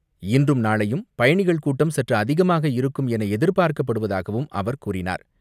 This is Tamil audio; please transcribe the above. இன்றும், நாளையும் பயணிகள் கூட்டம் சற்று அதிகமாக இருக்கும் என எதிர்பார்க்கப்படுவதாகவும் அவர் கூறினார்.